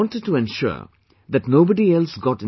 They wanted to ensure that nobody else